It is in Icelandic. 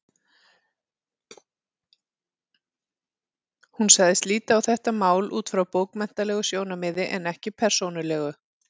Hún sagðist líta á þetta mál út frá bókmenntalegu sjónarmiði en ekki persónulegu.